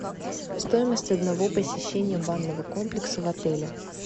стоимость одного посещения банного комплекса в отеле